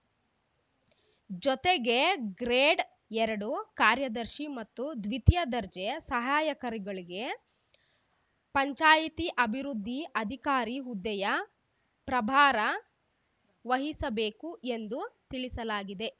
ಜೊತೆಗೆ ಗ್ರೇಡ್‌ ಎರಡು ಕಾರ್ಯದರ್ಶಿ ಮತ್ತು ದ್ವಿತೀಯ ದರ್ಜೆ ಸಹಾಯಕರುಗಳಿಗೆ ಪಂಚಾಯಿತಿ ಅಭಿವೃದ್ದಿ ಅಧಿಕಾರಿ ಹುದ್ದೆಯ ಪ್ರಭಾರ ವಹಿಸಬೇಕು ಎಂದು ತಿಳಿಸಲಾಗಿದೆ